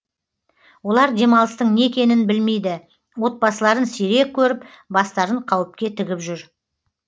олар демалыстың не екенін білмейді отбасыларын сирек көріп бастарын қауіпке тігіп жүр